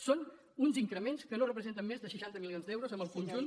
són uns increments que no representen més de seixanta milions d’euros en el conjunt